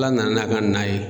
Ala nana n'a ka na ye.